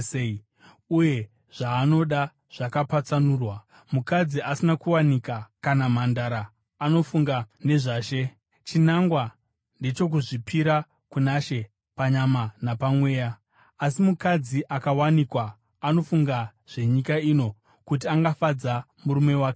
uye zvaanoda zvakapatsanurwa. Mukadzi asina kuwanikwa kana mhandara anofunga nezvaShe: Chinangwa ndechokuzvipira kuna She panyama napamweya. Asi mukadzi akawanikwa anofunga zvenyika ino kuti angafadza murume wake sei.